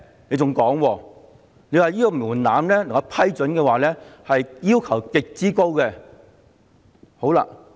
你還說，如要獲批准，必須符合極高的門檻。